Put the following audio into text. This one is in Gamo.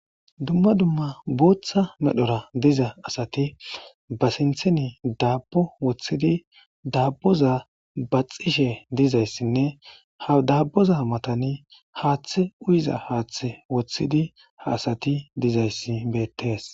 dumma dumma booththa medhora diza asati ba sintheni daabbo wothidi daabboza baxishe dizayssinne ha dabboza matani haaththe uyza haaththe wothidi ha asati dizayssi bettees